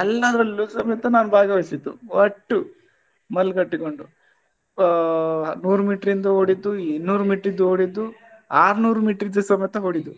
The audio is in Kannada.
ಎಲ್ಲದ್ರಲ್ಲು ಸಮೇತ ನಾನ್ ಭಾಗವಹಿಸಿದ್ದು ಒಟ್ಟು ಬಲ್ಲ್ ಕಟ್ಟಿಕೊಂಡು ಆ ನೂರು meter ದ್ದು ಓಡಿದ್ದು ಇನ್ನೂರು meter ದ್ದು ಓಡಿದ್ದು ಆರ್ನೂರು meter ಸಮೇತ ಓಡಿದ್ದು